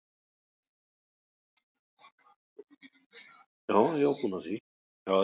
Sellulósi er náttúrulegt efni sem brotnar auðveldlega niður.